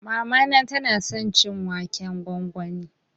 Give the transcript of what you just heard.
Mamana ta na son cin waken gwangwani